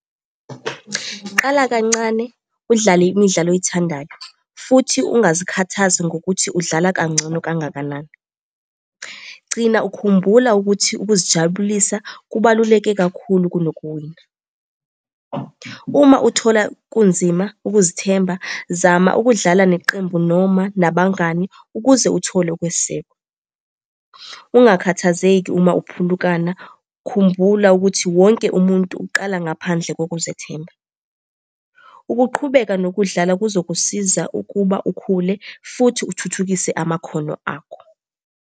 Qala kancane udlale imidlalo oyithandayo, futhi ungazikhathazi ngokuthi udlala kangcono kangakanani. Gcina ukhumbula ukuthi ukuzijabulisa kubaluleke kakhulu kunokuwina. Uma uthola kunzima ukuzithemba, zama ukudlala neqembu noma nabangani, ukuze uthole ukwesekwa. Ungakhathazeki uma uphulukana khumbula ukuthi wonke umuntu uqala ngaphandle kokuzethemba. Ukuqhubeka nokudlala kuzokusiza ukuba ukhule futhi uthuthukise amakhono akho.